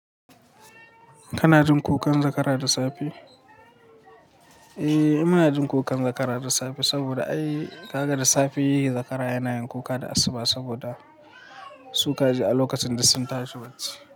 Kana jin kukan zakara da safe? Eh muna jin kukan zakara da safe saboda ai ka ga da safe zakara yana yin kuka da asuba saboda su ka ji a lokacin duk sun tashi bacci.